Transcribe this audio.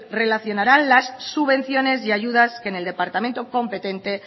relacionarán las subvenciones y ayudas en el departamento competente